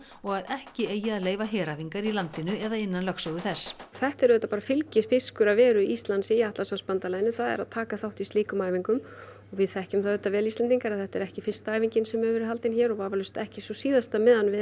og að ekki eigi að leyfa heræfingar í landinu eða innan lögsögu þess þetta er auðvitað bara fylgifiskur af veru Íslands í Atlantshafsbandalaginu það er að taka þátt í slíkum heræfingum og við þekkjum það auðvitað vel Íslendingar að þetta er ekki fyrsta æfingin sem hefur verið haldin hér og vafalaust ekki sú síðasta meðan við